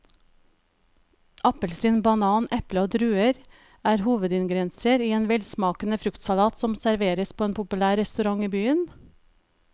Appelsin, banan, eple og druer er hovedingredienser i en velsmakende fruktsalat som serveres på en populær restaurant i byen.